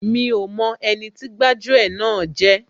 Mi ò mọ ẹni tí gbájú ẹ̀ náà jẹ́